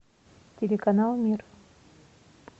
телеканал мир